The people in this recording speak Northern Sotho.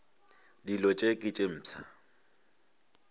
dilo tše ke tše mpsha